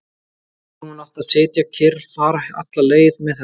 Hefði hún átt að sitja kyrr, fara alla leið með þetta?